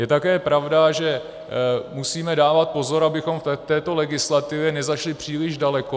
Je také pravda, že musíme dávat pozor, abychom v této legislativě nezašli příliš daleko.